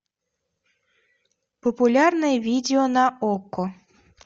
популярные видео на окко